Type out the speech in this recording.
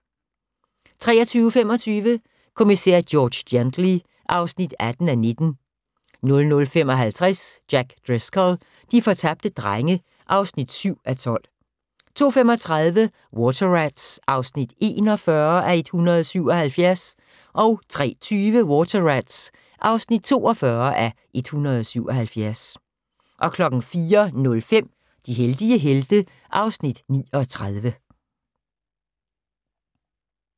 23:25: Kommissær George Gently (18:19) 00:55: Jack Driscoll - de fortabte drenge (7:12) 02:35: Water Rats (41:177) 03:20: Water Rats (42:177) 04:05: De heldige helte (Afs. 39)